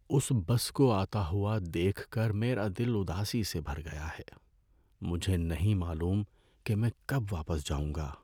اس bus کو آتا ہوا دیکھ کر میرا دل اداسی سے بھر گیا ہے۔ مجھے نہیں معلوم کہ میں کب واپس جاؤں گا۔